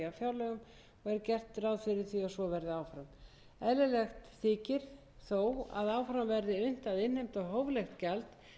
þó að áfram verði unnt að innheimta hóflegt gjald sem standi undir hluta kostnaðar við dvöl sjúklings á